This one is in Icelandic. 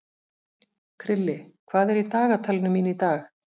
Krilli, hvað er í dagatalinu mínu í dag?